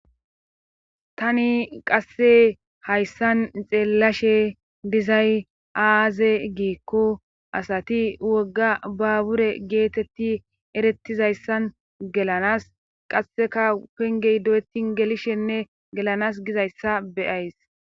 tani qasse hayssan xeellashe dizay aaze giikko asati wogga ba bure geetetti erettizayssan gelanas qasseka pengey do7etin gelishenne gelanas gizayssa beyays